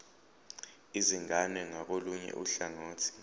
izingane ngakolunye uhlangothi